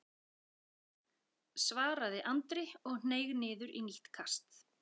svaraði Andri og hneig niður í nýtt kast.